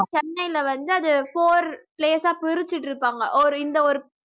சென்னையில வந்து அது four place ஆ பிரிச்சிட்டிருப்பாங்க ஒரு இந்த ஒரு